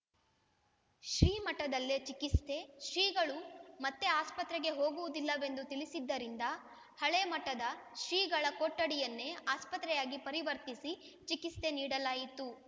ಶ್ರೀಮಠದಲ್ಲೇ ಚಿಕಿತ್ಸೆ ಶ್ರೀಗಳು ಮತ್ತೆ ಆಸ್ಪತ್ರೆಗೆ ಹೋಗುವುದಿಲ್ಲವೆಂದು ತಿಳಿಸಿದ್ದರಿಂದ ಹಳೆಮಠದ ಶ್ರೀಗಳ ಕೊಠಡಿಯನ್ನೇ ಆಸ್ಪತ್ರೆಯಾಗಿ ಪರಿವರ್ತಿಸಿ ಚಿಕಿತ್ಸೆ ನೀಡಲಾಯಿತು